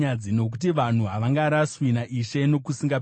Nokuti vanhu havangaraswi naIshe nokusingaperi.